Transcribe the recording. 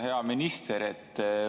Hea minister!